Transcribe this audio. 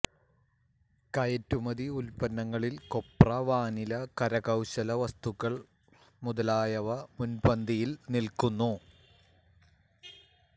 കയറ്റുമതി ഉത്പന്നങ്ങളിൽ കൊപ്ര വാനില കരകൌശല വസ്തുക്കൾ മുതലായവ മുൻപന്തിയിൽ നില്ക്കുന്നു